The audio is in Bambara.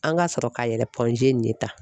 An ka sɔrɔ ka yɛlɛ nin ye tan!